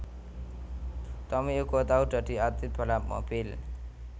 Tommy uga tau dadi atlit balap mobil